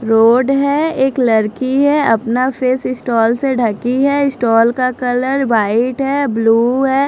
Road है एक लरकी है अपना फेस स्टोल से ढकी है स्टोल कलर वाइट है ब्लू है।